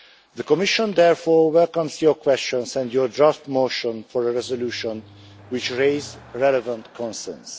The Commission therefore welcomes your questions and your draft motion for a resolution which raised relevant concerns.